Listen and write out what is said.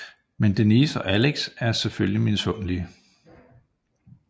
Men Denise og Alex er selvfølgelig misundelige